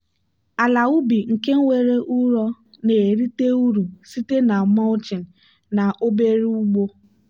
ala ubi nke nwere ụrọ na-erite uru site na mulching na obere ugbo.